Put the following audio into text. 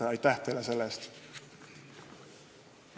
Aitäh teile selle eest!